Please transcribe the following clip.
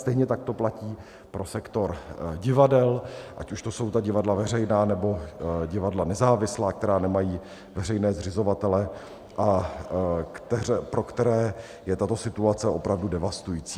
Stejně tak to platí pro sektor divadel, ať už to jsou ta divadla veřejná, nebo divadla nezávislá, která nemají veřejné zřizovatele a pro které je tato situace opravdu devastující.